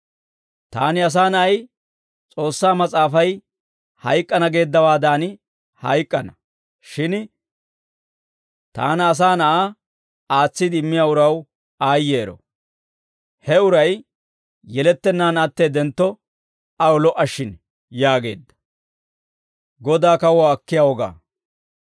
Taani, Asaa Na'ay, S'oossaa mas'aafay hayk'k'ana geeddawaadan hayk'k'ana; shin taana, Asaa Na'aa, aatsiide immiyaa uraw aayyeero; he uray yelettennaan atteeddentto, aw lo"a shin» yaageedda.